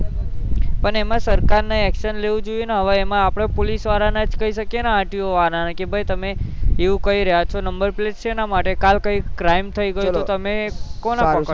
પણ એમાં સરકાર ને action લેવું જોઈ હવે એમાં આપડે પોલીસ વારા ને કઈ શકીએ ન RTO વાર ને કે ભાઈ તમે એવું કઈ રહ્યા છો નંબર plate સેના માટે કાલે કોઈ crime થઇ ગયો તો તમે કોણે પક્ડ્સો